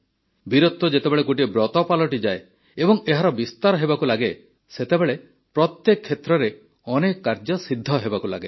ବୀରତ୍ୱ ଯେତେବେଳେ ଗୋଟିଏ ବ୍ରତ ପାଲଟିଯାଏ ଏବଂ ଏହାର ବିସ୍ତାର ହେବାକୁ ଲାଗେ ସେତେବେଳେ ପ୍ରତ୍ୟେକ କ୍ଷେତ୍ରରେ ଅନେକ କାର୍ଯ୍ୟ ସିଦ୍ଧ ହେବାକୁ ଲାଗେ